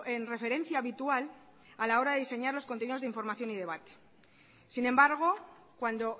en referencia habitual a la hora de diseñar los contenidos de información y debate sin embargo cuando